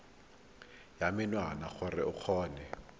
ya menwana gore o kgone